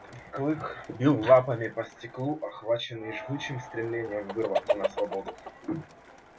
клык бил лапами по стеклу охваченный жгучим стремлением вырваться на свободу